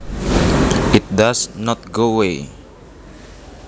It does not go away